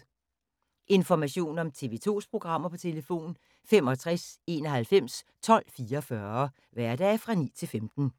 Information om TV 2's programmer: 65 91 12 44, hverdage 9-15.